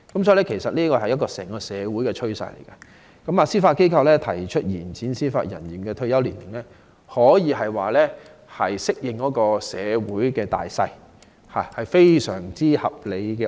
這是整個社會的趨勢，司法機構提出延展司法人員的退休年齡，可說是順應社會大勢，這項安排非常合理。